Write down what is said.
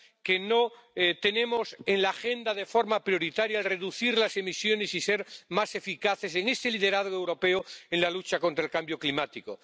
de que no tenemos en la agenda de forma prioritaria el reducir las emisiones y ser más eficaces en este liderazgo europeo en la lucha contra el cambio climático.